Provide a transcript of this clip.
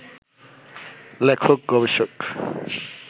লেখক-গবেষক